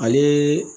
Ale